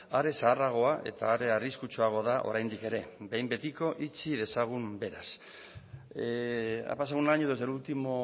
are zaharragoa eta are arriskutsuagoa da oraindik ere behin betiko itxi dezagun beraz ha pasado un año desde el último